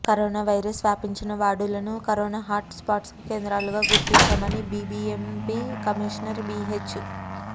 corona virus వ్యాపించిన వార్డులను corona hot spot కేంద్రాలుగా గుర్తించామని బీబీఎంపీ కమిషనర్ బిహెచ్